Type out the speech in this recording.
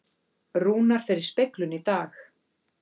Rúnar fer í speglun í dag